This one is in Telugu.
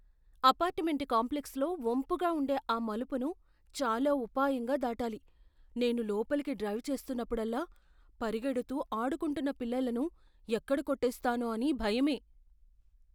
అపార్ట్మెంట్ కాంప్లెక్స్లో వంపుగా ఉండే ఆ మలుపును చాలా ఉపాయంగా దాటాలి. నేను లోపలకి డ్రైవ్ చేస్తున్నప్పుడల్లా పరిగెడుతూ ఆడుకుంటున్న పిల్లలను ఎక్కడ కొట్టేస్తానో అని భయమే!